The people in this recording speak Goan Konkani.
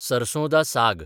सरसो दा साग